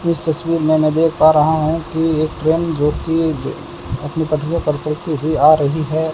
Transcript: इस तस्वीर मै देख पा रहा हूं कि एक ट्रेन जोकि अपनी पटरी पर चलती हुई आ रही है।